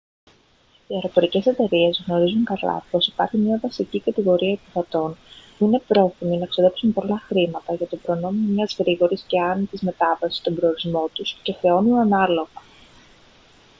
οι αεροπορικές εταιρείες γνωρίζουν καλά πως υπάρχει μια βασική κατηγορία επιβατών που είναι πρόθυμοι να ξοδέψουν πολλά χρήματα για το προνόμιο μιας γρήγορης και άνετης μετάβασης στον προορισμό τους και χρεώνουν ανάλογα